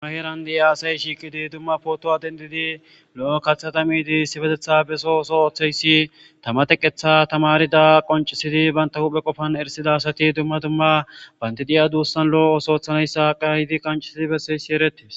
Ba heran de'iya asay Shiqidi duma qofaw dendidi lo'o kathayka midi issipetethan beso Osso Othizaso Tama teqethay Tamarida Qoncisididi Banta Woga qofan Esida Asati duma duma Banti diya dusan Lo'o othoy othanays Ka'idi qonccises Besizaysi eretes